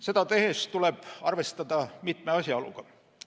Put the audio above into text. Seda tehes tuleb arvestada mitme asjaoluga.